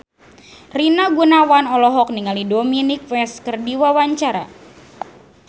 Rina Gunawan olohok ningali Dominic West keur diwawancara